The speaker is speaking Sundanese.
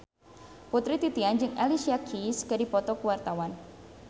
Putri Titian jeung Alicia Keys keur dipoto ku wartawan